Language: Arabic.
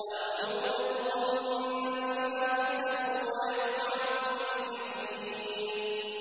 أَوْ يُوبِقْهُنَّ بِمَا كَسَبُوا وَيَعْفُ عَن كَثِيرٍ